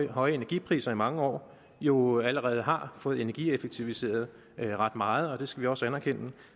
høje energipriser i mange år jo allerede har fået energieffektiviseret ret meget og det skal vi også anerkende